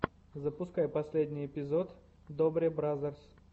запускай последний эпизод добре бразерс